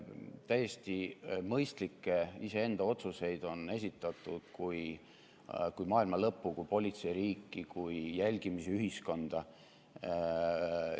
Iseenda täiesti mõistlikke otsuseid on esitatud kui maailma lõppu, kui politseiriiki, kui jälgimisühiskonda.